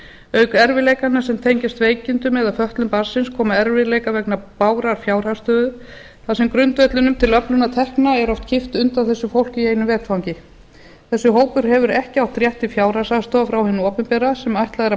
auk erfiðleikanna sem tengjast veikindum eða fötlun barnsins koma erfiðleikar vegna bágrar fjárhagsstöðu þar sem grundvellinum til öflunar tekna er oft kippt undan þessu fólki í einu vetfangi þessi hópur hefur ekki haft rétt til fjárhagsaðstoðar frá hinu opinbera sem ætlað er að